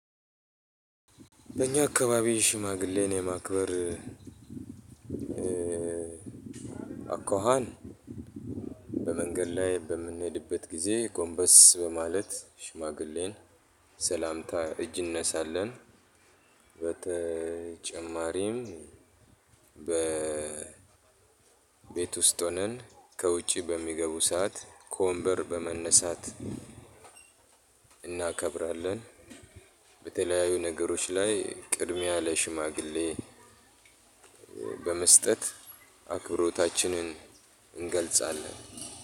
በእኛ አካባቢ ሽማግሌን የማክበር አኳኋን በመንገድ ላይ በምንሄድበት ጊዜ ጎምበስ በማለት ሽማግሌን ሰላምታ እጅ እንነሳለን። በተጨማሪም በቤት ውስጥ ሆነን ከውጪ በሚገቡ ሰዓት ከወንበር በመነሳት እናከብራለን። በተለያዩ ነገሮች ላይ ቅድሚያ ለሽማግሌ በመስጠት አክብሮታችንን እንገልጻለን።